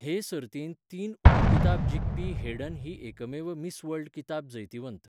हे सर्तींत तीन उपकिताब जिखपी हेडन ही एकमेव मिस वर्ल्ड किताब जैतिवंत.